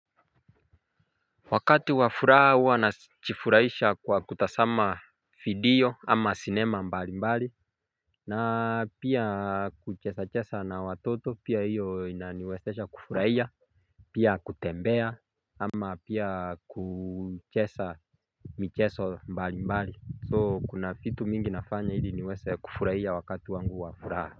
Wakati wafuraha huwa na najifurahisha kwa kutasama video ama cinema mbali mbali na pia kuchesa chesa na watoto pia hiyo inaniwesesha kufurahia Pia kutembea ama pia kuchesa micheso mbali mbali So kuna fitu mingi nafanya ili niwese kufurahia wakati wangu wafuraha.